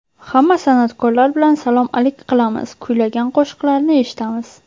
Hamma san’atkorlar bilan salom-alik qilamiz, kuylagan qo‘shiqlarini eshitamiz.